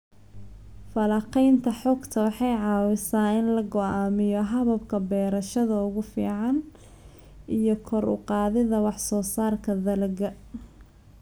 Falanqaynta xogta waxay caawisaa in la go'aamiyo hababka beerashada ugu fiican iyo kor u qaadida wax soo saarka dalagga.